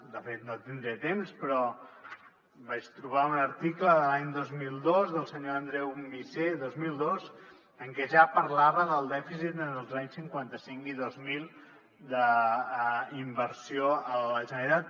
de fet no tindré temps però vaig trobar un article de l’any dos mil dos del senyor andreu missé dos mil dos en què ja parlava del dèficit entre els anys cinquanta cinc i dos mil d’inversió a la generalitat